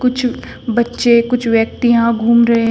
कुछ बच्चे कुछ व्यक्ति यहां घूम रहे--